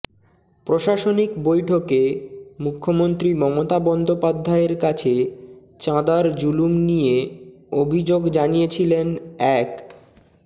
প্রশাসনিক বৈঠকে মুখ্যমন্ত্রী মমতা বন্দ্যোপাধ্যায়ের কাছে চাঁদার জুলুম নিয়ে অভিযোগ জানিয়েছিলেন এক